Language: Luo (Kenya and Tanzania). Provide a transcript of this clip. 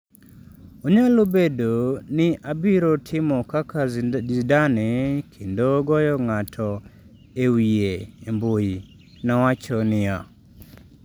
"""Onyalo bedo ni abiro timo kaka Zidane kendo goyo ng'ato e wiye e mbui," nowacho niya.